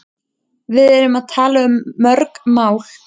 Við erum að tala um mörg mál.